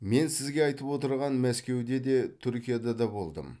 мен сіз айтып отырған мәскеуде де түркияда да болдым